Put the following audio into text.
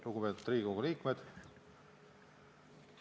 Lugupeetud Riigikogu liikmed!